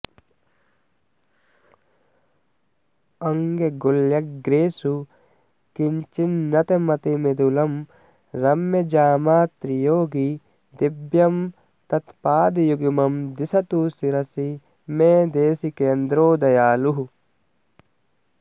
अङ्गुल्यग्रेषु किञ्चिन्नतमतिमृदुलं रम्यजामातृयोगी दिव्यं तत्पादयुग्मं दिशतु शिरसि मे देशिकेन्द्रो दयालुः